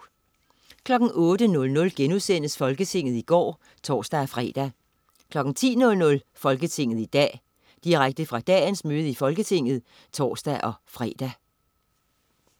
08.00 Folketinget i går* (tors-fre) 10.00 Folketinget i dag. Direkte fra dagens møde i Folketinget (tors-fre)